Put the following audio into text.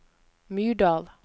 Myrdal